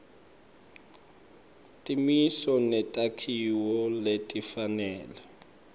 timiso netakhiwo letifanele